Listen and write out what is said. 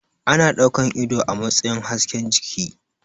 Ana ɗaukan ido a matsayin hasken jiki